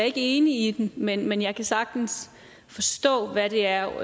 er ikke enig i den men men jeg kan sagtens forstå hvad det er